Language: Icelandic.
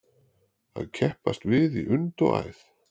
Að keppast við í und og æð